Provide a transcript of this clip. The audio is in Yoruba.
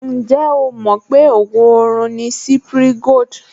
Ǹjẹ́ ó mọ̀ pé ògùn orun ni Cipri Gold?